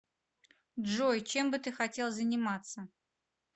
джой чем бы ты хотел заниматься